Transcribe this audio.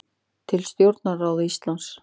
Til stjórnarráðs Íslands